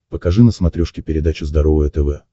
покажи на смотрешке передачу здоровое тв